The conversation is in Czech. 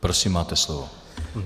Prosím, máte slovo.